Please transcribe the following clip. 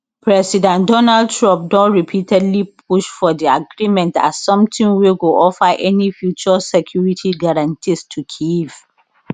president donald trump don repeatedly push for di agreement as something wey go offer any future security guarantees to kyiv